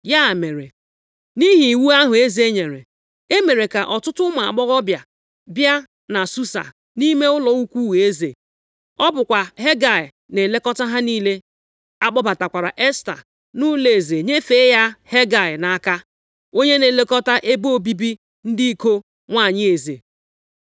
Ya mere, nʼihi iwu ahụ eze nyere, e mere ka ọtụtụ ụmụ agbọghọbịa bịa na Susa, nʼime ụlọ ukwu eze. Ọ bụkwa Hegai na-elekọta ha niile. A kpọbatakwara Esta nʼụlọeze nyefee ya Hegai nʼaka, onye na-elekọta ebe obibi ndị iko nwanyị eze.